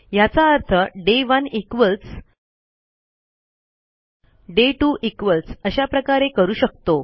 ह्याचा अर्थ डे 1 इक्वॉल्स डे 2 इक्वॉल्स अशाप्रकारे करू शकतो